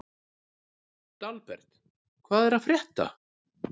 Dalbert, hvað er að frétta?